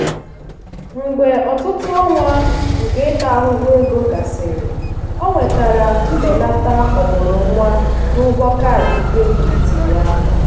mgbe ọtụtụ ọnwa nke ịta ahụhụ ego gasịrị o nwetara mbelata ọmụrụnwa n'ụgwọ kaadị kredit ya.